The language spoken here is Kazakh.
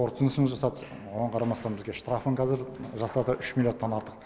қорытындысын жасады оған қарамастан бізге штрафын кәзір жасады үш миллиардтан артық